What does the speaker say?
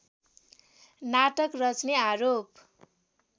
नाटक रच्ने आरोप